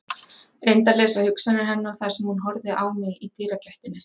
Reyndi að lesa hugsanir hennar þar sem hún horfði á mig í dyragættinni.